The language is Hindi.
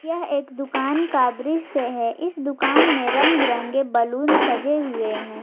यह एक दुकान का दृश्य है इस दुकान में रंग बिरंगे बलून सजे हुए हैं।